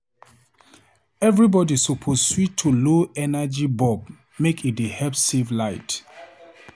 Everybody suppose switch to low energy bulb make e dey help save light.